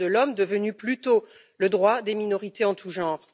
Droits de l'homme devenus plutôt le droit des minorités en tout genre.